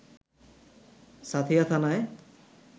সাঁথিয়া থানায়